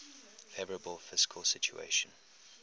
favourable fiscal situation